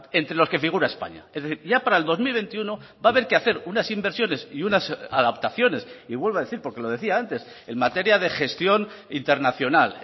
entre los que figura españa es decir ya para el dos mil veintiuno va a haber que hacer unas inversiones y unas adaptaciones y vuelvo a decir porque lo decía antes en materia de gestión internacional